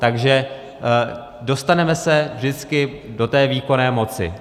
Takže dostaneme se vždycky do té výkonné moci.